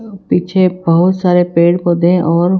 पीछे बहोत सारे पेड़ पौधे और--